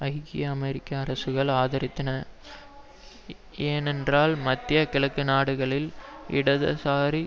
ஐக்கிய அமெரிக்க அரசுகள் ஆதரித்தன ஏனென்றால் மத்திய கிழக்கு நாடுகளில் இடதுசாரி